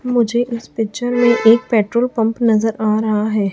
मुझे इस पिक्चर में एक पेट्रोल पंप नजर आ रहा है।